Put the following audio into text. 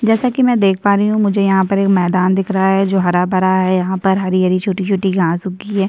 जैसा कि मैं देख पा रही हूं मुझे यहां पर एक मैदान दिख रहा है जो हरा भरा है यहां पर हरी - हरी छोटी - छोटी घास उगी है |